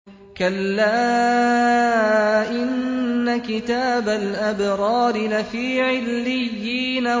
كَلَّا إِنَّ كِتَابَ الْأَبْرَارِ لَفِي عِلِّيِّينَ